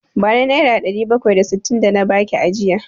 Bani Naira ɗari bakwai da sittin da na baki ajiya!